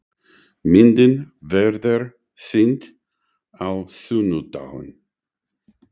Myndin verður sýnd á sunnudaginn.